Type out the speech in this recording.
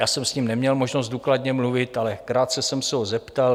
Já jsem s ním neměl možnost důkladně mluvit, ale krátce jsem se ho zeptal.